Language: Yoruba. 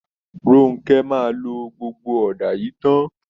Ronke máa lo gbogbo ọ̀dá yìí tán